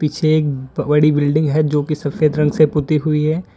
पीछे एक बड़ी बिल्डिंग है जो की सफेद रंग से पुती हुई है।